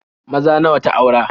Maza nawa ta aura?